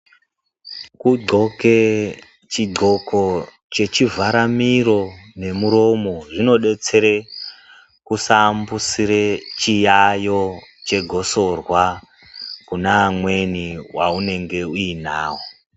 Kudhloke chidhloko chechivhara miro nemuromo zvinodetsere kusaambusira chiyayo chegosorwa kuna amweni vaunenge uinavo.